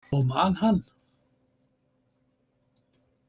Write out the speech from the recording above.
Og man hann.